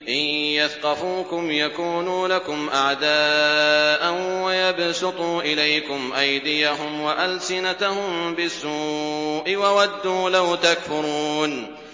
إِن يَثْقَفُوكُمْ يَكُونُوا لَكُمْ أَعْدَاءً وَيَبْسُطُوا إِلَيْكُمْ أَيْدِيَهُمْ وَأَلْسِنَتَهُم بِالسُّوءِ وَوَدُّوا لَوْ تَكْفُرُونَ